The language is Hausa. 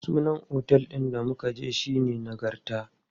Sunan otel ɗin da muka je shine Nagarta.